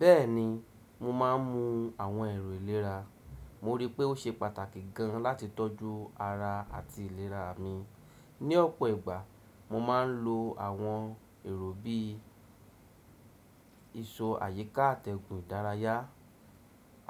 Bẹ́ẹ̀ni mo máà ń mu àwọn ẹ̀rọ ìlera. Mo rí pé ó ṣe pàtàkì gan láti tọ́jú ara àti ìlera mi. Ní ọ̀pọ̀ ìgbà mo máa ń lo àwọn ẹ̀rọ bí i ìsọ̀ àyíká àtẹ̀gùn ìdárayá,